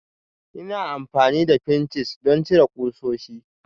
Ina amfani da pinches don cire ƙusoshi